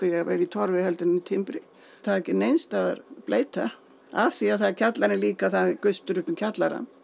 vera í Torfi heldur en í timbri það er ekki neinstaðar bleyta af því að það er kjallari líka og það er gustur upp um kjallarann